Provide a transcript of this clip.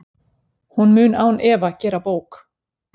Hún mun án efa gera bók.